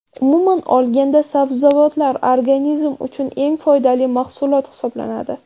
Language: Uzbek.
Umuman olganda, sabzavotlar organizm uchun eng foydali mahsulot hisoblanadi.